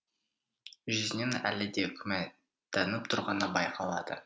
жүзінен әлі де күмәнданып тұрғаны байқалады